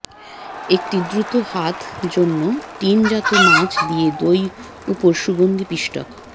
একটি দ্রুত হাত জন্য টিনজাত মাছ দিয়ে দই উপর সুগন্ধি পিষ্টক